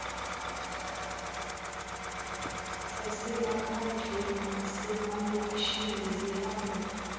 zasemaphandleni nasemalokishini zihamba